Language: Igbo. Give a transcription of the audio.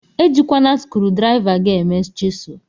Ejikwana skrudriva gi eme chisul.